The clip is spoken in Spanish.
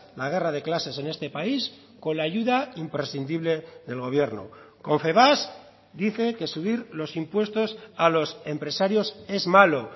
la guerra de clases en este país con la ayuda imprescindible del gobierno confebask dice que subir los impuestos a los empresarios es malo